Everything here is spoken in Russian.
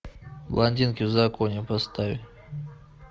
блондинки в законе поставь